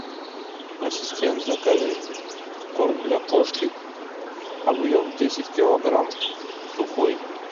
ассистент закажи корм для кошки объем десять килограмм сухой